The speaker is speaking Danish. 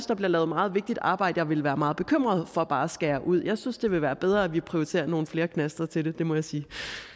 der bliver lavet meget vigtigt arbejde som jeg ville være meget bekymret for bare at skære ud jeg synes det vil være bedre at vi prioriterer nogle flere knaster til det det må jeg sige